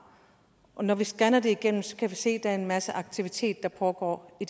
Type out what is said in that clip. når vi scanner det igennem kan vi se at der er en masse aktivitet der pågår i